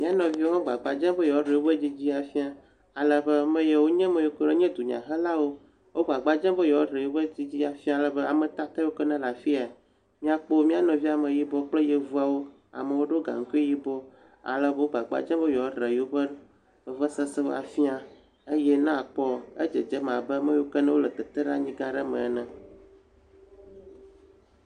M]a nɔviwo gbagba dzem be yewoa ɖe yewo ƒe dzidzi afia. Ale be ameyiwo nye ameyiwo kura nye dunyahelawo wo agbagba dzem be yewoa ɖe yewo ƒe dzidzi afia. Ale be ame kake kewo ke ne le afia m]akpɔ m]a nɔvi ameyibɔ kple yevuawo. Amewo ɖo gaŋkui yibɔ. Ale be wo gbagba dzem be yewoaɖe yewoƒe vevesesewo afi eye na akpɔ edzedze abe ame yiwo ke ne le teteɖeanyi gã aɖe me ene.